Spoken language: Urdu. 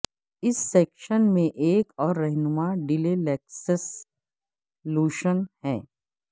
اس سیکشن میں ایک اور رہنما ڈیلیلیکسکس لوشن ہے